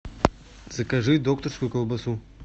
закажи докторскую колбасу